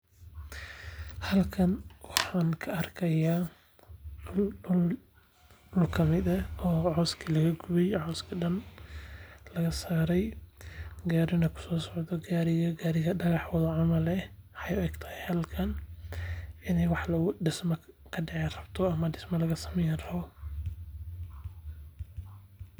Halkan waxaan ka arkaa duul oo kamid ah duul oo cooska laga gooyay, cooskii dhan oo laga saaray, gaariina ku soo socdo. Gaarigaas oo gaarigu dhagax wado camal ah. Waxay u egtahay halkan in waax dhismo ka dhici rabto ama dhismo laga samayn rabbo.